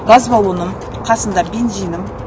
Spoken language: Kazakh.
газ балоным қасымда бензинім